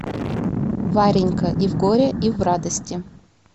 варенька и в горе и в радости